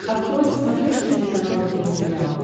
открой на смотрешке телеканал нтв сериал